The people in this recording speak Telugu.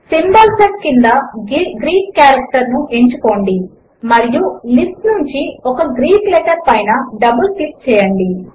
సింబోల్ సెట్ క్రింద గ్రీక్ అని ఎంచుకోండి మరియు లిస్ట్ నుంచి ఒక గ్రీక్ లెటర్ పైన డబుల్ క్లిక్ చేయండి